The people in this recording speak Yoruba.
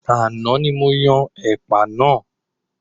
Àná ní mo yan ẹ̀pà náà.